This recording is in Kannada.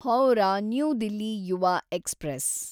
Howrah new Delhi Yuva express